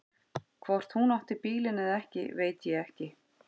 Hvort hún átti bílinn eða ekki veit ég ekki.